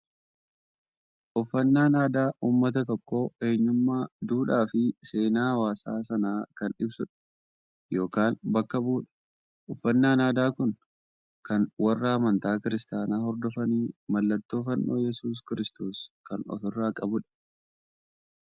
Uffannaan aadaa uummata tokkoo, eenyummaa, duudhaa fi seenaa hawaasa sanaa kan ibsudha yookaan bakka bu'udha. Uffannaan aadaa Kun, kan warra amantaa kiristaanaa hordofanii mallattoo fannoo yesuus kiristoos kan of irraa qabudha.